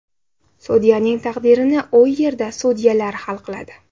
Sudyaning taqdirini u yerda sudyalar hal qiladi.